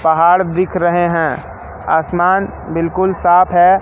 पहाड़ दिख रहे हैं आसमान बिल्कुल साफ है।